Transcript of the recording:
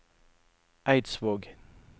Eidsvåg